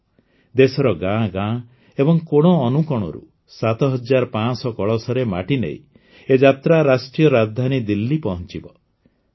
ଦେଶର ଗାଁ ଗାଁ ଏବଂ କୋଣ ଅନୁକୋଣରୁ ୭୫୦୦ କଳସରେ ମାଟି ନେଇ ଏ ଯାତ୍ରା ରାଷ୍ଟ୍ରୀୟ ରାଜଧାନୀ ଦିଲ୍ଲୀ ପହଞ୍ôଚବ